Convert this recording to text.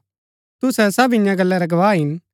तुसै सब ईयां गल्ला रै गवाह हिन